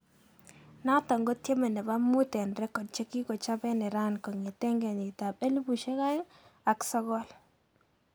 Naton ko tiemet nepo mut en record chekokichap en Iran kongeteng keyit ap 2009